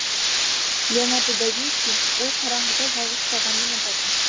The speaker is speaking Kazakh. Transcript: леонардо да винчи ол қараңғыда жалғыз қалғанды ұнататын